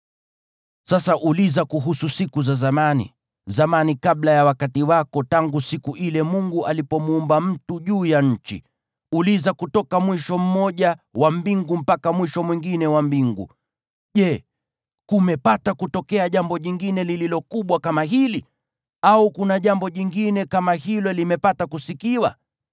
Sasa uliza kuhusu siku za zamani, zamani kabla ya wakati wako, tangu siku ile Mungu alipomuumba mtu juu ya nchi, uliza kutoka mwisho mmoja wa mbingu mpaka mwisho mwingine wa mbingu. Je, kumepata kutokea jambo jingine lililo kubwa kama hili, au kuna jambo jingine kama hilo limepata kusikiwa?